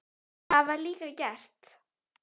Það var líka gert.